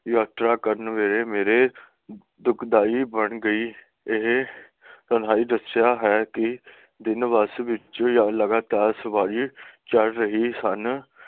ਯਾਤਰਾ ਕਰਨ ਵੇਲੇ ਮੇਰੇ ਦੁੱਖਦਾਈ ਬਣ ਗਈ ਇਹ ਤਾਂ ਬਹੁਤ ਅੱਛਾ ਹੈ ਕਿ ਦਿਨ ਬੱਸ ਵਿਚੇ ਲਗਾਤਾਰ ਸਵਾਰੀ ਚੱਲ ਰਹੀ ਸਨ